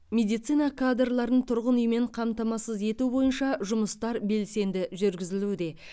медицина кадрларын тұрғын үймен қамтамасыз ету бойынша жұмыстар белсенді жүргізілуде